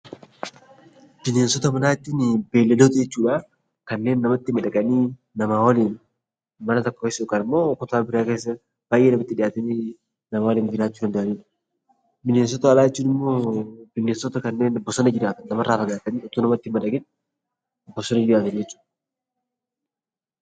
Bineensota manaa jechuun beeyiladoota jechuudha. Kanneen namatti madaqanii nama waliin mana tokko keessa yookiin immoo baayyee namatti dhihaatanii nama waliin jiraachuu danda'anidha. Bineensota alaa jechuun immoo bineensota kanneen nama irraa fagaatanii bosona galan , nama irraa fagaatanii bosona jiraatanidha.